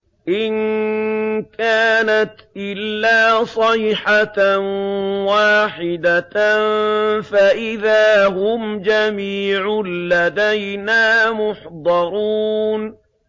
إِن كَانَتْ إِلَّا صَيْحَةً وَاحِدَةً فَإِذَا هُمْ جَمِيعٌ لَّدَيْنَا مُحْضَرُونَ